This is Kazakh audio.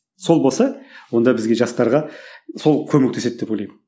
сол болса онда бізге жастарға сол көмектеседі деп ойлаймын